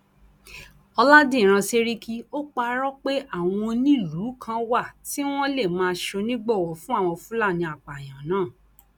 ọlàdíràn sẹríkì ò parọ pé àwọn onílùú kan wà tí wọn lè máa ṣonígbọwọ fún àwọn fúlàní apààyàn náà